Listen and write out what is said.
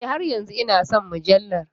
E, har yanzu ina son mujallar.